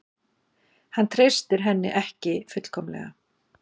Hann treystir henni ekki fullkomlega.